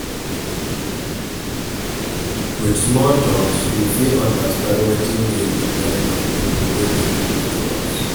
With small talks we fit understand wetin dey di mind of pipo wey dey close to us